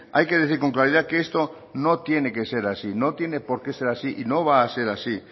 hay que decir con claridad que esto no tiene que ser así no tiene por qué ser así y no va a ser así